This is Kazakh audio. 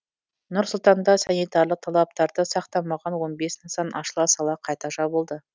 нұр сұлтанда санитарлық талаптарды сақтамаған он бес нысан ашыла сала қайта жабылды